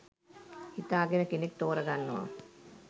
හිතා ගෙන කෙනෙක් ‍තෝරා ගන්නවා.